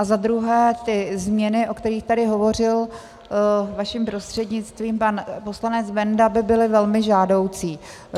A za druhé, ty změny, o kterých tady hovořil vaším prostřednictvím pan poslanec Benda, by byly velmi žádoucí.